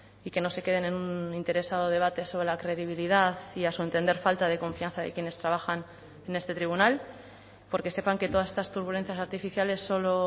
y que no se queden en un interesado debate sobre la credibilidad y a su entender falta de confianza de quienes trabajan en este tribunal porque sepan que todas estas turbulencias artificiales solo